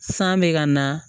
San bɛ ka na